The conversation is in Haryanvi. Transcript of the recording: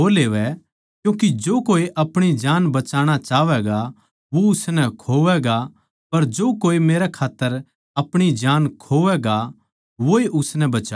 क्यूँके जो कोए अपणी जान बचाणा चाहवैगा वो उसनै खोवैगा पर जो कोए मेरी खात्तर अपणी जान खोवैगा वोए उसनै बचावैगा